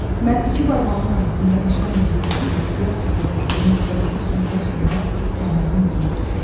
Mən iki barmağımın arasında nişan üzüyü kimi ehtiyatla saxladığım siqareti sümürə-sümürə Kənanın izinə düşürəm.